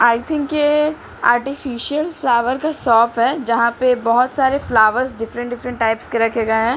आई think ये artificial flower का shop है जहां पे बहुत सारे फ्लावर्स डिफरेंट डिफरेंट टाइप्स के रखे गए हैं।